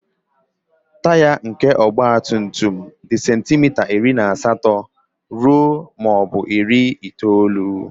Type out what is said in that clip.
Taya nke ọgba tum tum dị sentimita iri na asatọ ruo muo bu iri itoolu.